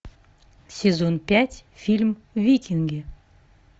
сезон пять фильм викинги